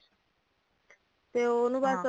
ਤੇ ਓਨੂੰ ਬਸ